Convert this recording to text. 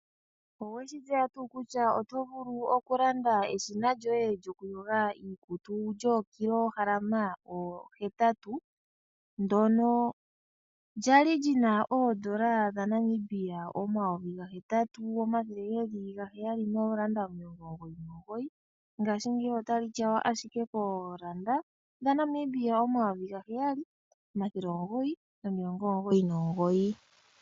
Oweshi tseya tuu kutya otovulu okulanda eshina lyoye lyoku yoga iikutu lyookilohalama hetatu ndono kwali lina oondola dha Namibia omayovi ga hetatu omathele ga heyali nomilongo omugoyi nomugoyi ngashingeyi otayi tyawa ashike koondola dha Namibia omathele ga heyali omathele omugoyi nomilongo omugoyi nomugoyi.